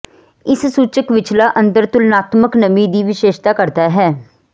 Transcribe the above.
ਇਸ ਸੂਚਕ ਵਿਚਲਾ ਅੰਤਰ ਤੁਲਨਾਤਮਕ ਨਮੀ ਦੀ ਵਿਸ਼ੇਸ਼ਤਾ ਕਰਦਾ ਹੈ